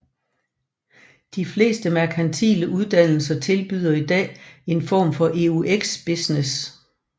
De fleste merkantile uddannelser tilbyder i dag en form for EUX Business